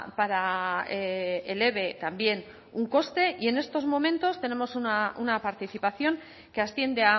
para el eve también un coste y en estos momentos tenemos una participación que asciende